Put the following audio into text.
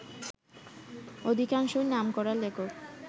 অধিকাংশই নামকরা লেখক